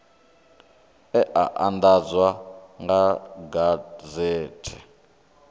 e a andadzwa kha gazethe